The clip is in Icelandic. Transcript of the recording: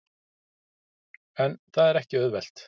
En það er ekki auðvelt.